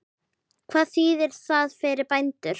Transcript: Hvað þýðir það fyrir bændur?